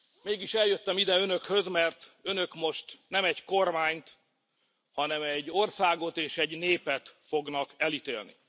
Mégis eljöttem ide Önökhöz, mert Önök most nem egy kormányt, hanem egy országot és egy népet fognak elítélni.